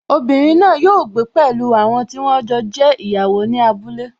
Obìnrin náà yóò gbé pẹ̀lú àwọn tí wọ́n jọ jẹ́ ìyàwó ní abúlé